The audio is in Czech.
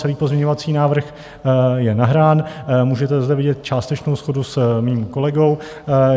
Celý pozměňovací návrh je nahrán, můžete zde vidět částečnou shodu s mým kolegou.